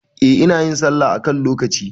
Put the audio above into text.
Eh, inayin sallah a kan lokaci